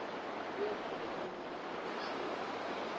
kuyoholela ekunqumukeni kobuhlobo